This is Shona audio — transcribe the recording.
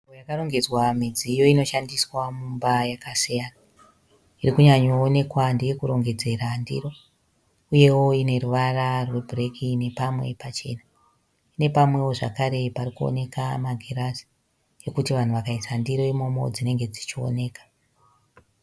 Nzvimbo yakarongedzwa midziyo inoshandiswa mumba yakasiyana. Iri kunyanyoonekwa ndeyekurongedzera ndiro. Uyewo ine ruvara rwebhureki nepamwe pachena. Ine pamwewo zvekare parikuratidza magirazi pekuti vanhu vakaisa ndiro imomo dzinenge dzichioneka.